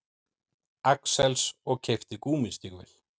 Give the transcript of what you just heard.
Axels og keypti gúmmístígvél.